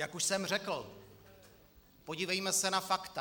Jak už jsem řekl, podívejme se na fakta.